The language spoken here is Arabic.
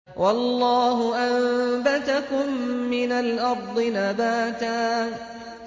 وَاللَّهُ أَنبَتَكُم مِّنَ الْأَرْضِ نَبَاتًا